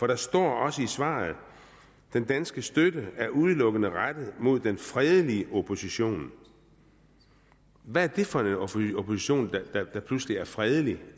der står også i svaret den danske støtte er udelukkende rettet mod den fredelige opposition hvad er det for en opposition der pludselig er fredelig